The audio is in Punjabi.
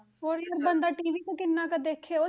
ਹੋਰ ਯਾਰ ਬੰਦਾ TV ਵੀ ਕਿੰਨਾ ਕੁ ਦੇਖੇ ਉਹ,